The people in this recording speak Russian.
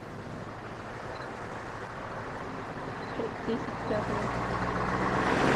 пять десять пятого